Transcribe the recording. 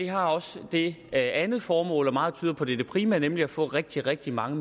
har også det andet formål og meget tyder på at det er det primære nemlig at få rigtig rigtig mange